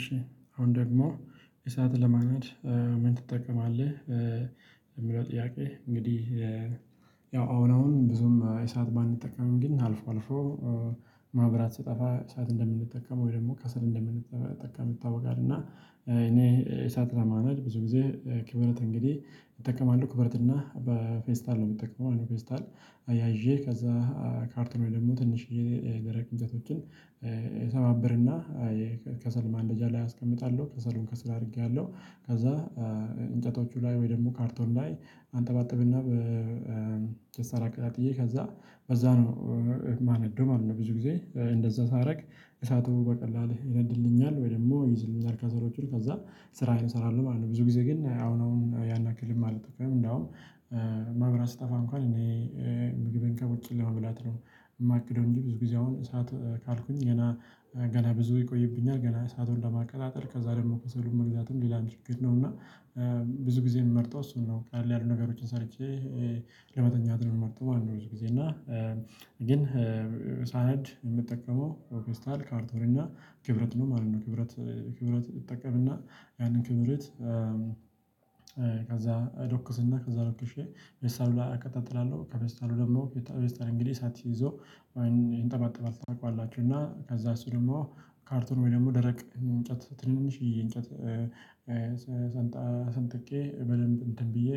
እሺ አሁን ደግሞ፤ "እሳት ለማንደድ ምን ትጠቀማለህ?" ለሚለው ጥያቄ፤ እንግዲህ ያው አሁን አሁን ብዙም እሳት ባንጠቀምም ግን አልፎ አልፎ መብራት ሲጠፋ እሳት እንደምጠቀም ወይ ደግሞ ከሰል እንደምንጠቀም ይታወቃል። እና እኔ እሳት ለማንደድ ብዙ ግዜ ክብሪት እንግዲህ እጠቀማለሁ። ኪብረት እና በፌስታል ነው የምጠቀመው ፌስታል አያይዤ ከዛ ካርቶን፤ ወይም ደግሞ ትንሽዬ ደረቅ እንጨቶችን ሰባብርና ከሰል ማንደጃ ላይ አስቀምጣለው። ከሰሉን ከስር አድርጊያለሁ። ከዛ እንጨቶቹ ላይ ወይም ደግሞ ካርቶን ላይ አንጠባጥብ እና በፌስታል አቀጣጥዬ ከዛ በዛው ነው ማነደው ማለት ነው። ብዙ ጊዜ እንደዛ ሳደርግ እሳቱ በቀላሉ ይነድልኛል፤ ወይም ደግሞ ይይዝልኛል ከሰሎቹን። ከዛ ስራዬን እሰራለሁ ማለት ነው። ብዙ ግዜ ግን አሁን አሁን ያን ያክልም አልጠቀምም እንዲያውም መብራት ሲጠፋ እንኳን እኔ ምግቤን ከውጭ ለመብላት ነው የማቅደው እንጂ፤ ብዙ ጊዜ አሁን እሳት ካልኩኝ ገና ገና ብዙ ይቆይብኛል። ገና እሳቱን ለማቀጣጠል ከዛ ደግሞ ከሰሉን መግዛቱም ሌላ ችግር ነው። እና ብዙ ግዜ የምመርጠው እሱን ነው። ቀለል ያሉ ነገሮችን ሰርቼ ለመተኛት ነው የምመርጠው ማለት ነው። ብዙ ጊዜ እና ግን ሳነድ የምጠቀመው ፌስታል፣ ካርቶን እና ክብሪት ነው ማለት ነው። ክብረት ክብረት እጠቀም እና ያንን ክብሪት ከዛ ዶቅስና ከዛ ዶቅሼ ፌስታል ላይ አቀጣጥላለሁ። ከፌስታል ላይ ደግሞ ፌስታሉ እሳት ይዞ ይንጠባጠባል ታውቃላችሁ። እና ከዛ እሱ ድግሞ ካርቶን ወይም ደረቅ እንጨት ትንንሽዬ እንጨት ሰንጣ ሰንጥቄ በደንብ እንትን ብዬ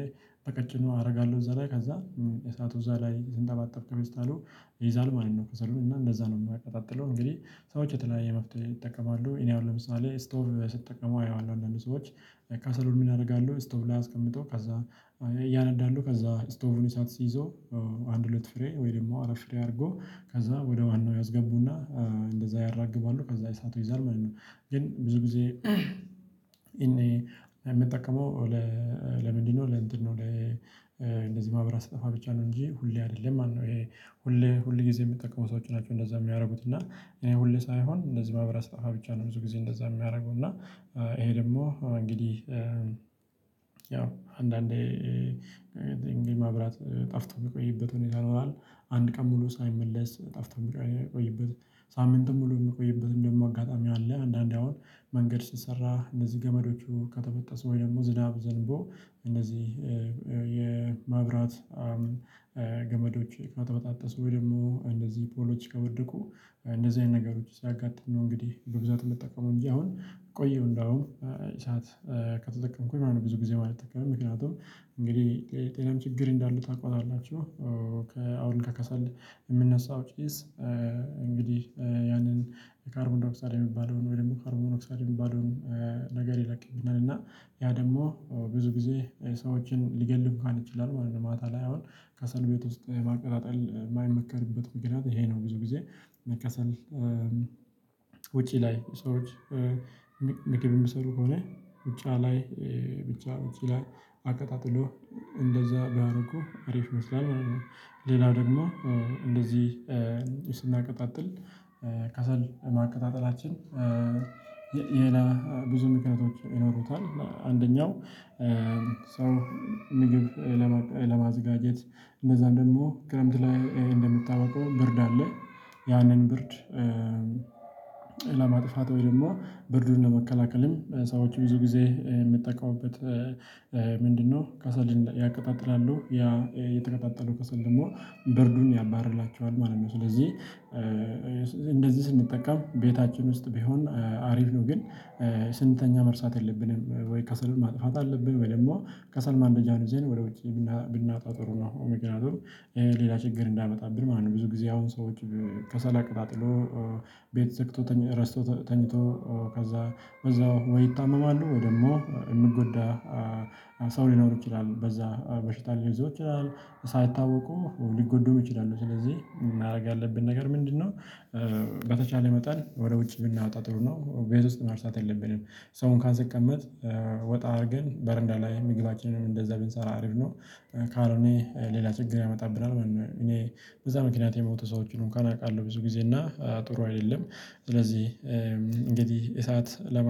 በቀጭኑ አደርጋለሁ እዛ ላይ፤ ከዛ እሳቱ እዛ ላይ ሲንጠባጠብ ከፌስታሉ ይይዛል ማለት ነው ከሰሉ እና እንደዛ ነው ማቀጣጥለው። እንግዲህ ሰዎች የተለያየ መፍትሄ ይጠቀማሉ። እኔ አሁን ለምሳሌ እስቶቭ ላይ ሲጠቀሙ አየዋለሁ አንዳንድ ሰዎች ከሰሉን ምን ያደርጋሉ ስቶቭ ላይ አስቀምጠው ያንዳሉ ከዛ ስቶቩን እሳት ሲዪዘው አንድ ሁለት ፍሬ ወይም አራት ፍሬ አድርገው ክዛ ወደዋናው ያስገቡና እንደዛ ያራግባሉ ከዛ እሳቱ ይይዛል ማለት ነው። ግን ብዙ ግዜ የምጠቅመው ለ ለምንድነው ለእንትን ነው። ለ መብራት ሲጠፋ ብቻ ነው እንጂ ሁሌ አይደለም ማለት ነው። ይሄ ሁልጊዜ የሚጠቀሙ ሰዎች ናቸው እንደዚያ የሚያደርጉት። እና ሁሌ ሳይሆን እንደዚህ መብራት ሲጠፋ ብቻ ነው ብዙ ግዜ እንደዛ የማደርገው። እና ይሄ ደግሞ እንግዲህ ያው አንዳንዴ ድንገት መብራት ጠፍቶ የሚቆይበት ሁኔታ ይኖራል። አንድ ቀን ሙሉ ሳይመለስ ጠፍቶ የሚቆይ የሚቆይበት፤ ሳምንቱ ሙሉ የሚቆይበት እንዲሁም አጋጣሚ አለ። አንዳንዴ አሁን መንገድ ሲሰራ እነዚህ ገመዶቹ ከተበጠሱ ወይም ደግሞ ዝናብ ዘንቦ እነዚህ የመብራት ገመዶች ከተበጣጠሱ፤ ወይም ደግሞ እንዲዚህ ፖሎች ከወደቁ። እንደዚህ አይነት ነገሮች ሲያጋጥሙ ነው እንግዲህ በብዛት የምጠቀመው እንጂ አሁን ቆየሁ እንደውም እሳት ከተጠቀምኩኝ ማለት ነው። ብዙ ግዜ ባልጠቀምም ምክንያቱም እንግዲህ ለጤናም ችግር እንዳለው ታውቁታላችሁ። ከ አሁን ከከሰል የሚነሳው ጭስ እንግዲህ ያንን ካርቦንዳይ ኦክሳይድ የሚባለውን፤ ወይም ደግሞ ካርቦን ሞኖ ኦክሳይድ የሚባለውን ነገር ይለቅብኛል። እና ያ ደግሞ ብዙ ግዜ ሰዎችን ሊገል እንኳን ይችላል ማለት ነው። ማታ ላይ አሁን ከሰል ቤት ውስጥ ማቀጣጠል የማይመከርበት ምክንያት ይሄ ነው። ብዙ ግዜ ከሰል ውጪ ላይ ሰዎች ምግብ የሚሰሩ ከሆነ ውጪ ላይ ብቻ ውጪ ላይ አቀጣጥለው እንደዚያ ቢያደርጉ አሪፍ ይመስላል ማለት ነው። ሌላው ደግሞ እንደዚህ ስናቀጣጥል ከሰል ማቀጣጠላችን የ የ ሌላ ብዙ ምክንያቶች ይኖሩታል። አንደኛው ሰው ምግብ ለማቅ ለማዘጋጀት እነዛን ደግሞ ክረምት ላይ እንደሚታወቀው ብርድ አለ፤ ያንን ብርድ ለማጥፋት ወይ ደግሞ ብርዱን ለመከላከልም ሰዎች ብዙ ግዜ የሚጠቀሙበት ምንድነው ከሰልን ያቀጣጥላሉ። ያ የተቀጣጠለው ከሰል ደግሞ ብርዱን ያባርላቸዋል ማለት ነው። ስለዚህ እንደዚህ ስንጠቀም ቤታችን ውስጥ ቢሆን አሪፍ ነው፤ ግን ስንተኛ መርሳት የለብንም። ወይ ከሰሉን ማጥፋት አለብን፤ ወይ ደግሞ ከሰል ማንደጃውን ይዘን ወደውጪ ብናወጣው ጥሩ ነው። ምክንያቱም ሌላ ችግር እንዳያመጣብን ማለት ነው። ብዙ ግዜ አሁን ሰወች ከሰል አቀጣጥለው ቤት ዘግቶ ትኝ ረስቶት ተኝቶ ከዛ በዛው ወይ ይታመማሉ፤ ወይ ደግሞ የሚጎዳ ሰው ሊኖር ይችላል፤ በዛ በሽታ ሊይዘው ይችላል። ሳይታወቁ ሊጎዱ ይችላሉ። ስለዚህ ማረግ ያለብን ነገር ምንድነው? በተቻለ መጠን ወደ ውጪ ብናወጣው ጥሩ ነው። ቤት ውስጥ መርሳት የለብንም። ሰው እንኳን ሲቀመጥ ወጣ አርገን በረንዳ ላይ ምግባችንን እንደዛ ብንሰራ አሪፍ ነው። ካልሆነ ሌላ ችግር ያመጣብናል ማለት ነው። እኔ በዛ ምክንያት የሞቱ ሰዎችን እንኳን አውቃለሁ ብዙ ግዜ እና ጥሩ አይደለም። ስለዚህ እንግዲህ እሳት ለማ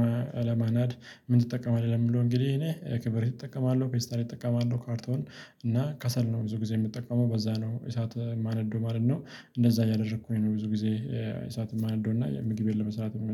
ለማናድ ምን ትጠቀምለህ? ለሚለው እንግዲህ እኔ ክብሪት እጠቀማለሁ፤ ፌስታል እጠቀማለሁ፤ ካርቶን እና ከሰል ነው ብዙ ግዜ የምጠቀመው። በዛ ነው እሳት የማነደው ማለት ነው። እንደዛ እያደርኩኝ ነው ብዙ ግዜ እሳት የማነደው እና ምግቤን ለመስራት